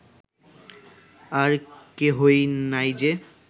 আর কেহই নাই যে